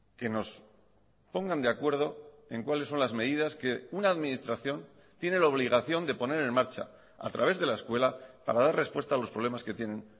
que nos pongan de acuerdo en cuáles son las medidas que una administración tiene la obligación de poner en marcha a través de la escuela para dar respuesta a los problemas que tienen